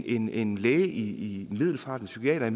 en en læge i middelfart en psykiater